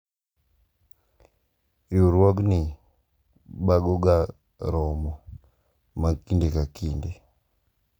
Riwruogni bago ga romo mag kinde ka kinde.